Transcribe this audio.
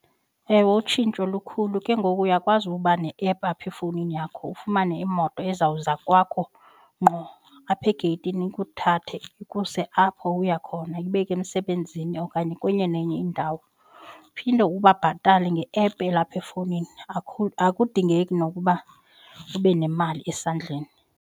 Ewe, utshintsho lukhulu ke ngoku uyakwazi ukuba ne-app apha efowunini yakho ufumane imoto izawuza kwakho ngqo apha egeyithini uthathe ukumse apho uya khona khona ibeke emsebenzini okanye kwenye nenye indawo uphinde ubabhatale nge-app elapha efowunini akudingeki nokuba ube nemali esandleni.